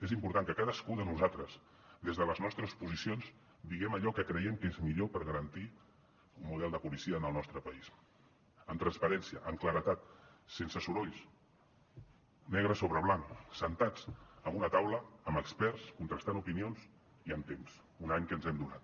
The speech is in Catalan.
és important que cadascú de nosaltres des de les nostres posicions diguem allò que creiem que és millor per garantir un model de policia en el nostre país amb transparència amb claredat sense sorolls negre sobre blanc asseguts en una taula amb experts contrastant opinions i amb temps un any que ens hem donat